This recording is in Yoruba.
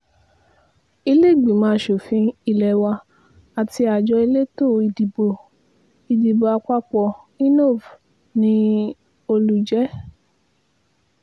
ìlèégbínímọ asòfin ilé wa àti àjọ elétò ìdìbò ìdìbò àpapọ̀ inov ni olùjẹ́